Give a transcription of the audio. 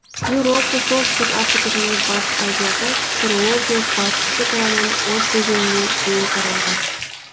еуропа солтүстік африка және батыс азияда ксро де батыс шекарадан обь өзеніне дейін таралған